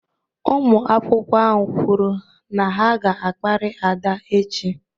Ụmụ akwụkwọ ahụ kwuru na ha ga-akparị Ada echi.